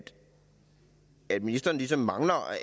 at ministeren ligesom mangler